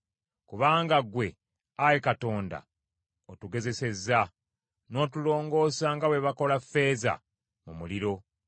Kubanga ggwe, Ayi Katonda, otugezesezza, n’otulongoosa nga bwe bakola ffeeza mu muliro.